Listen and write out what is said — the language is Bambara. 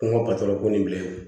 Ko n ka ko nin bilen